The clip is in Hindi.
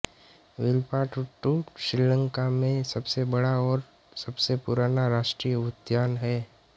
विल्पाट्टू श्रीलंका में सबसे बड़ा और सबसे पुराना राष्ट्रीय उद्यान है